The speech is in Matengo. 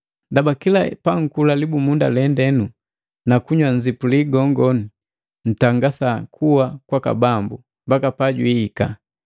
Ndaba kila pankula libumunda lendenu na kuunywele nzipuli gongo, ntangasa kua kwaka Bambu, mbaka pajwiika.